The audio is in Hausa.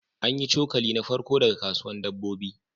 An yi cokali na farko daga kasusuwan dabbobi